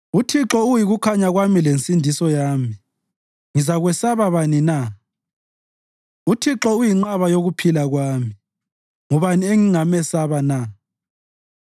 UThixo uyikukhanya kwami lensindiso yami ngizakwesaba bani na? UThixo uyinqaba yokuphila kwami ngubani engingamesaba na?